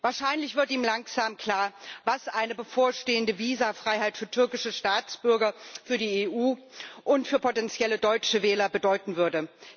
Wahrscheinlich wird ihm langsam klar, was eine bevorstehende Visafreiheit für türkische Staatsbürger, für die EU und für potentielle deutsche Wähler bedeuten würde.